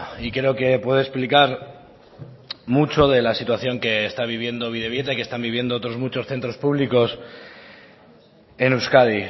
y creo que puede explicar mucho de la situación que está viviendo bidebieta y que están viviendo otros muchos centros públicos en euskadi